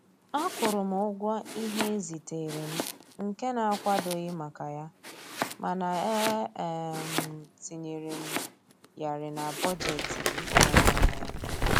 Akwụrụ m ụgwọ ihe e ziteere m nke na-akwadoghị maka ya, mana e um tinyere m yarị na bọjetị m um